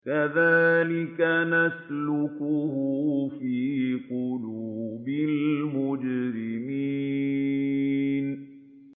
كَذَٰلِكَ نَسْلُكُهُ فِي قُلُوبِ الْمُجْرِمِينَ